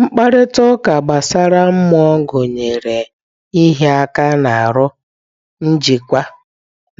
Mkparịta ụka gbasara mmụọ gụnyere ịhịa aka n'ahụ, njikwa,